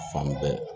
Fan bɛɛ